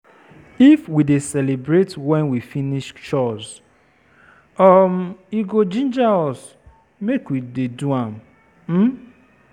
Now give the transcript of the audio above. If we dey celebrate when we finish chores, um e go ginger us make we dey do am. um